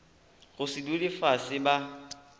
go se dule fase ba